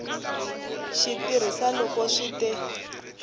xi tirhisa loko swi te